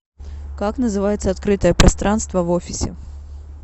как называется открытое пространство в офисе